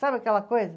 Sabe aquela coisa?